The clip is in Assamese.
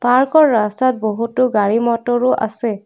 পাৰ্কৰ ৰাস্তাত বহুতো গাড়ী মটৰো আছে।